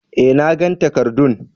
eh, nagan takarddun.